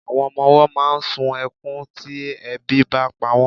Àwọn ọmọ máà ń sun ẹkún tí ebi bá pa wọ́n.